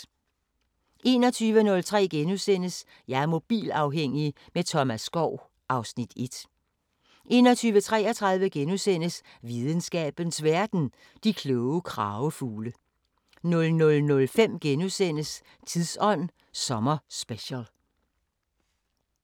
21:03: Jeg er mobilafhængig – med Thomas Skov (Afs. 1)* 21:33: Videnskabens Verden: De kloge kragefugle * 00:05: Tidsånd sommerspecial *